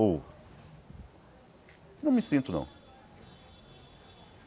Ou... Não me sinto, não.